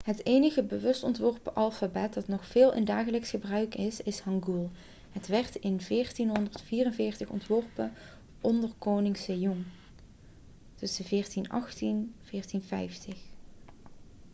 het enige bewust ontworpen alfabet dat nog veel in dagelijks gebruik is is hangul. het werd in 1444 ontworpen onder koning sejong 1418-1450